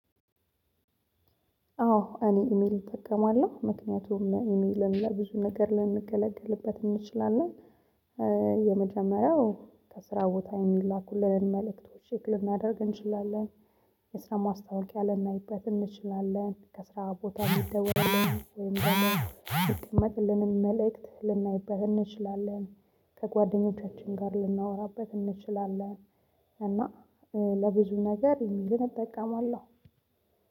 አዎ እኔ ኢሜል እጠቀማለሁ ምክንያቱም ኢሜልን ለሌላ ብዙ ነገር ልንገለግልበት እንችላለን። የመጀመሪያው ከስራ ቦታ የሚላኩልንን መልእክቶች ቸክ ልናደርግ እንችላለን። የስራ ማስታወቂያ ልናይበት እንችላለን ከስራ ቦታ ሚደወልልንን ወይም ደግሞ የሚቀመጥልንን መልእክት ልናይበት እንችላለን። ከጓደኞቻችን ጋር ልናወራበት እንችላለን። እና ለብዙ ነገር ኢሜልንን እጠቀማለሁ